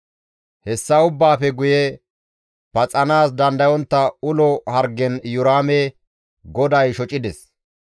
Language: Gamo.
Hessa ubbaafe guye paxanaas dandayontta ulo hargen GODAY Iyoraame GODAY shocides.